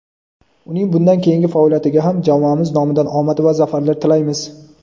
Uning bundan keyingi faoliyatiga ham jamoamiz nomidan omad va zafarlar tilaymiz!.